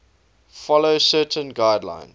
follow certain guidelines